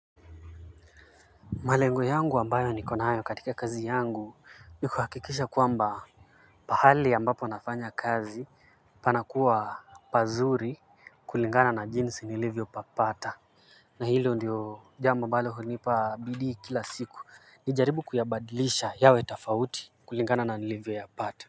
Malengo yangu ambayo niko nayo katika kazi yangu ni kuhakikisha kwamba mahali ambapo nafanya kazi panakuwa pazuri kulingana na jinsi nilivyopapata. Na hilo ndiyo jambo ambalo hunipa bidii kila siku. Nijaribu kuyabadilisha yawe tofauti kulingana na nilivyoyapata.